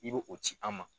I bɛ o ci an ma